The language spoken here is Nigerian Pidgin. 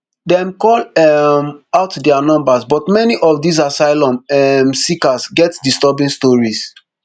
dem call um out dia numbers but many of these asylum um seekers get disturbing stories